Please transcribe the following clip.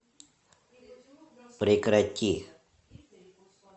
прекрати